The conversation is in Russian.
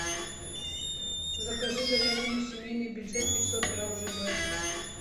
закажи говядину семейный бюджет пятьсот грамм жб